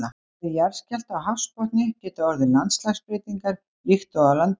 Við jarðskjálfta á hafsbotni geta orðið landslagsbreytingar líkt og á landi.